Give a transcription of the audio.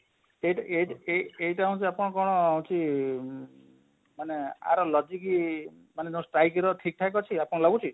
ଏଟି ଏଟି ଏଇଟା ଏଇଟା ହଉଛି ଆପଣ କଣ କି ମାନେ ଏଆର logic କି ମାନେ ତମ streik ର ଠିକ ଠାକ ଅଛେ ଆପଣ ଲାଗୁଛି?